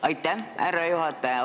Aitäh, härra juhataja!